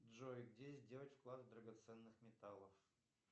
джой где сделать вклад драгоценных металлов